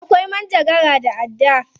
Akwai manjagara da adda.